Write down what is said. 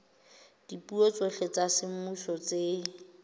dipuo tsohle tsa semmuso tse